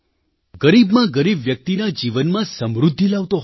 ગરીબમાં ગરીબ વ્યક્તિના જીવનમાં સમૃદ્ધિ લાવતો હોય